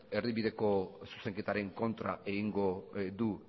erdibideko zuzenketaren kontra egingo du